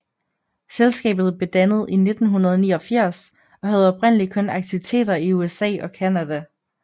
Selskabet blev dannet i 1989 og havde oprindelig kun aktiviteter i USA og Canada